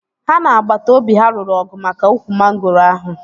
Ha na agbata obi ha lụrụ ọgụ maka ukwu mangoro ahụ